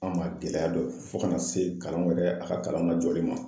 An ma gɛlɛya dɔn fo kana se kalanw yɛrɛ a ka kalanw lajɔli ma